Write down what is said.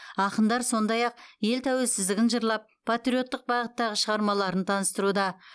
ақындар сондай ақ ел тәуелсіздігін жырлап патриоттық бағыттағы шығармаларын таныстыруда